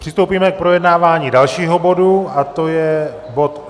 Přistoupíme k projednávání dalšího bodu a to je bod